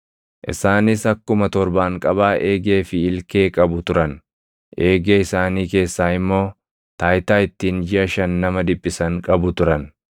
Isaanis akkuma torbaanqabaa eegee fi ilkee qabu turan; eegee isaanii keessaa immoo taayitaa ittiin jiʼa shan nama dhiphisan qabu turan.